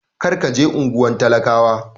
Kar ka je unguwar talakawa!